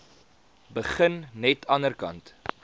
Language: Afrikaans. begin net anderkant